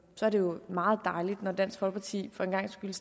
så er det jo meget dejligt at dansk folkeparti for en gangs skyld